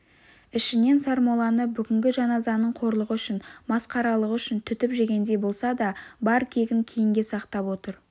ішінен сармолланы бүгінгі жаназаның қорлығы үшін масқаралығы үшін түтіп жегендей болса да бар кегін кейінге сақтап отыр